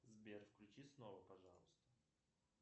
сбер включи снова пожалуйста